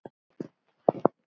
Inga var þannig.